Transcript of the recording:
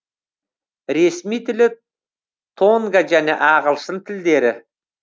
ресми тілі тонга және ағылшын тілдері